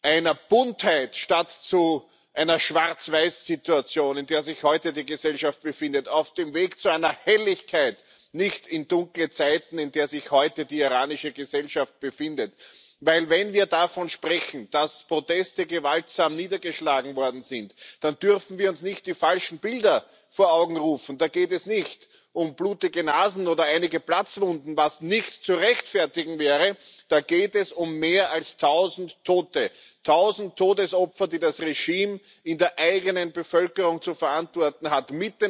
einer Buntheit statt zu einer Schwarzweiß Situation, in der sich heute die Gesellschaft befindet, auf dem Weg zu einer Helligkeit, nicht in dunkle Zeiten, in der sich heute die iranische Gesellschaft befindet. Wenn wir davon sprechen, dass Proteste gewaltsam niedergeschlagen worden sind, dann dürfen wir uns nicht die falschen Bilder vor Augen rufen. Da geht es nicht um blutige Nasen oder einige Platzwunden was nicht zu rechtfertigen wäre da geht es um mehr als tausend Tote tausend Todesopfer, die das Regime in der eigenen Bevölkerung zu verantworten hat.